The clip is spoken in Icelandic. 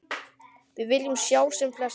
Við viljum sjá sem flesta.